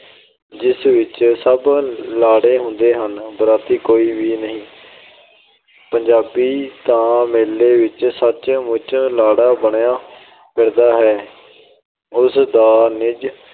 ਜਿਸ ਵਿੱਚ ਸਭ ਲਾੜੇ ਹੁੰਦੇ ਹਨ, ਬਰਾਤੀ ਕੋਈ ਵੀ ਨਹੀ। ਪੰਜਾਬੀ ਤਾਂ ਮੇਲੇ ਵਿੱਚ ਸੱਚ-ਮੁੱਚ ਲਾੜਾ ਬਣਿਆ ਫਿਰਦਾ ਹੈ। ਉਸ ਦਾ ਨਿੱਜ